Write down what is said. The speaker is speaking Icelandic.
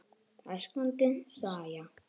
Það er skondin saga.